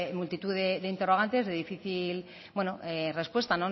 multitud de interrogantes de difícil respuesta